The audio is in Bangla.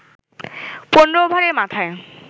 ১৫ ওভারের মাথায়